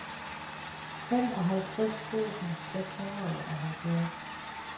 femoghalvtreds tusind seks hundrede og halvfjerds